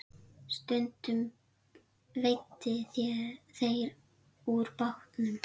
Stundum veiddu þeir úr bátnum.